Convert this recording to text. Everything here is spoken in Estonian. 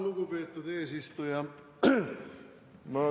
Lugupeetud eesistuja!